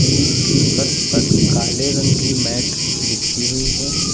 Gym की फर्श पर काले रंग की मैट बिछी हुई है।